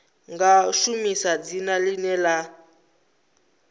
nga shumisa dzina ḽine ḽa